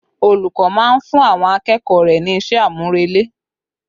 Olùkọ́ máa ń fún àwọn akẹ́kọ̀ọ́ rẹ ní iṣẹ́ àmúrelé